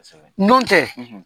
Kosɛbɛ. N'o tɛ.